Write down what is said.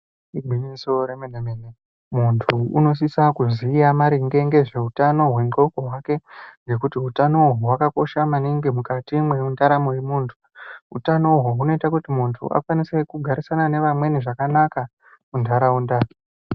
Igwinyiso remene mene muntu unosisa kuziya maringe nezveutano hwendxondo hwake ngekuti utano uhwu hwakakosha maningi mukati mwendaramo yemuntu. Utano uhwu hunoita kuti muntu akwanise kugarisana nevamweni zvakanaka muntaraunda.